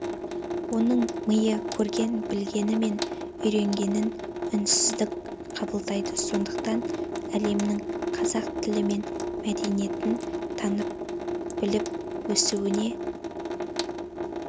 оның миы көрген-білгені мен үйренгенін үздіксіз қабылдайды сондықтан әлемнің қазақ тілі және мәдениетін танып-біліп өсуіне